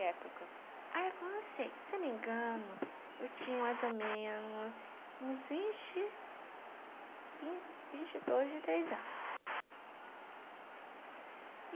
época? A época, não sei, se não me engano, eu tinha mais ou menos uns vinte... vinte e dois, vinte e três anos.